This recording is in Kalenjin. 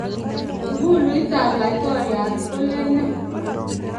Ikuluitab laitoriat kolen nee?